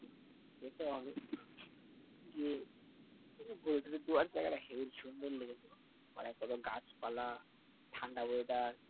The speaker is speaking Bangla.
সেটা অনেক যে করাটা সুন্দর লেগেছে না? আর একটাতে গাছপালা, ঠাণ্ডা মেয়াদের